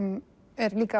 er líka